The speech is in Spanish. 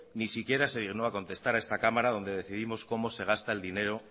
ni siquiera se dignó a contestar a esta cámara donde decidimos cómo se gasta el dinero